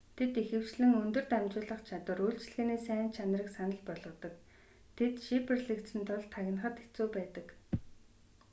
тэд ихэвчлэн өндөр дамжуулах чадвар үйлчилгээний сайн чанарыг санал болгодог тэд шифрлэгдсэн тул тагнахад хэцүү байдаг